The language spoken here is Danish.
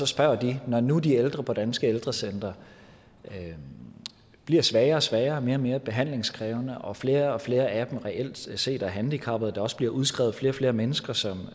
spørger de når nu de ældre på danske ældrecentre bliver svagere og svagere og mere og mere behandlingskrævende og flere og flere af dem reelt set er handicappede og der også bliver udskrevet flere og flere mennesker som